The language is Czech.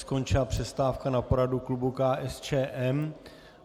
Skončila přestávka na poradu klubu KSČM.